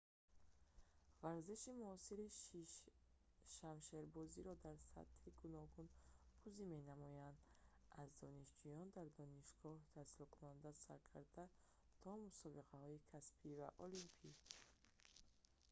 варзиши муосири шамшербозиро дар сатҳҳои гуногун бозӣ менамоянд аз донишҷӯёни дар донишгоҳ таҳсилкунанда сар карда то мусобиқаҳои касбӣ ва олимпӣ